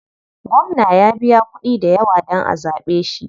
Gwamna ya biya kuɗi dayawa dan a zaɓe shi.